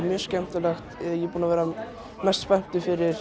mjög skemmtilegt ég er búinn að vera mest spenntur fyrir